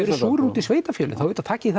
eruð súrir út í sveitarfélögin þá auðvitað takið